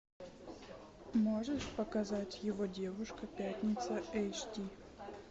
можешь показать его девушка пятница эйч ди